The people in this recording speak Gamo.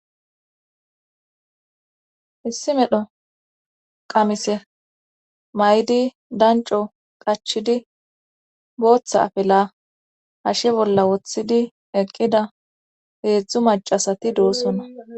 Issi medho qamise maydi danco qachidi booththa afela hashe bolla woththidi eqqida heedzdzu macasati doosonna.